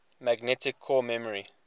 magnetic core memory